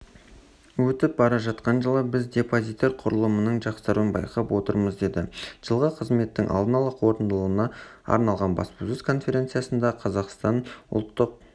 өтіп бара жатқан жылы біз депозиттер құрылымының жақсаруын байқап отырмыз деді жылғы қызметтің алдын ала қорытындыларына арналған баспасөз конференциясында қазақстан ұлттық